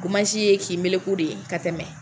Gomansi ye k'i meleku de ka tɛmɛ!